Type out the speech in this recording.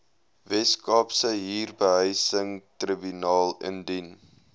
weskaapse huurbehuisingstribunaal indien